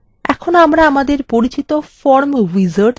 এখন আমরা আমাদের পরিচিত form wizard দেখতে পাচ্ছি